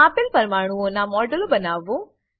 આપેલ પરમાણુંઓનાં મોડેલો બનાવો